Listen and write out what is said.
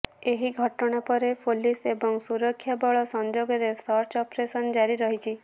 ଏହି ଘଟଣା ପରେ ପୋଲିସ୍ ଏବଂ ସୁରକ୍ଷାବଳ ସଂଯୋଗରେ ସର୍ଚ୍ଚ ଅପରେସନ୍ ଜାରୀ ରହିଛି